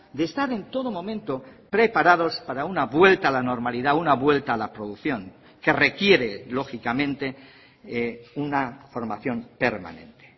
de estar en todo momento preparados para una vuelta a la normalidad una vuelta a la producción que requiere lógicamente una formación permanente